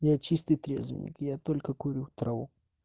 я чистый трезвенник я только курю траву